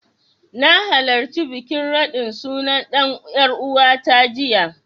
Na halarci bikin raɗin suna ɗan ƴaruwata jiya.